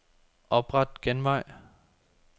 Opret genvej.